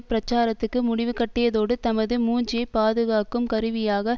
பிரச்சாரத்துக்கு முடிவுகட்டியதோடு தமது மூஞ்சியை பாதுகாக்கும் கருவியாக